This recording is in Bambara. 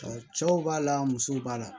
Cɛw b'a la musow b'a la